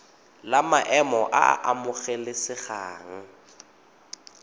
la maemo a a amogelesegang